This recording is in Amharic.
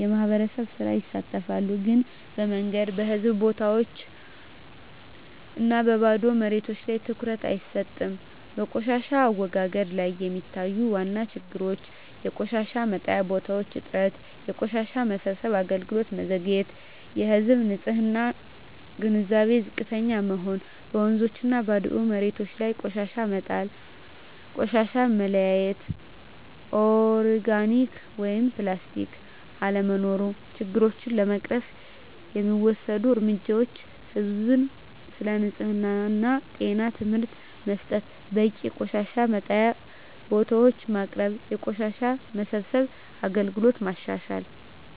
(የማህበር ሥራ) ይሳተፋሉ ግን በመንገድ፣ በህዝብ ቦታዎች እና በባዶ መሬቶች ላይ ትኩረት አይሰጥም በቆሻሻ አወጋገድ ላይ የሚታዩ ዋና ችግሮች የቆሻሻ መጣያ ቦታዎች እጥረት የቆሻሻ መሰብሰብ አገልግሎት መዘግየት የህዝብ ንፅህና ግንዛቤ ዝቅተኛ መሆን በወንዞችና ባዶ መሬቶች ላይ ቆሻሻ መጣል ቆሻሻ መለያየት (ኦርጋኒክ/ፕላስቲክ) አለመኖር ችግሮቹን ለመቅረፍ የሚወሰዱ እርምጃዎች ህዝብን ስለ ንፅህና እና ጤና ትምህርት መስጠት በቂ የቆሻሻ መጣያ ቦታዎች ማቅረብ የቆሻሻ መሰብሰብ አገልግሎትን ማሻሻል